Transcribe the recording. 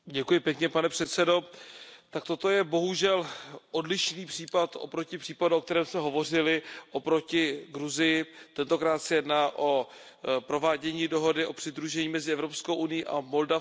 Pane předsedající, tak toto je bohužel odlišný případ oproti případu, o kterém jsme hovořili, oproti Gruzii. Tentokrát se jedná o provádění dohody o přidružení mezi Evropskou unií a Moldavskem.